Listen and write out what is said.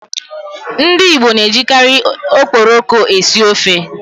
Ndi Igbo na-ejikari Okporoko esi ofe.